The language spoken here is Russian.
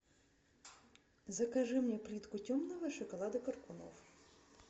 закажи мне плитку темного шоколада коркунов